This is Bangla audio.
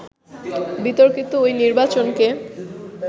বিতর্কিত ওই নির্বাচনকে